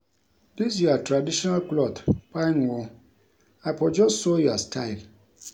Dis your traditional cloth fine oo, I for just sew your style